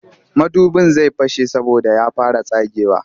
Madubin zai fashe saboda ya fara tsagewa